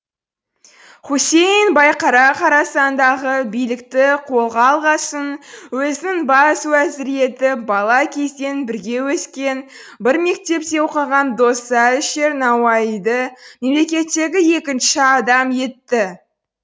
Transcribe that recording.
хүсейін байқара хорасандағы билікті қолға алғасын өзінің бас уәзірі етіп бала кезден бірге өскен бір мектепте оқыған досы әлішер науаиды мемлекеттегі екінші адам етті